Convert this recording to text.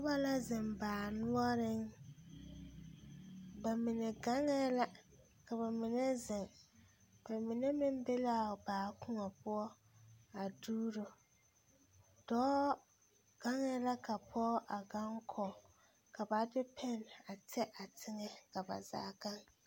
Noba la zeŋ baa noɔreŋ ba mine gaŋɛɛ la ka ba mine zeŋ ba mine meŋ be l,a baa koɔ poɔ a duuro dɔɔ gaŋɛɛ la ka pɔge a gaŋ kɔge ka ba de pɛne a tɛ a teŋɛ ka ba zaa gaŋ.